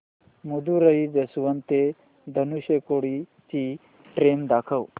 Madurai junction ते धनुषकोडी ची train दाखव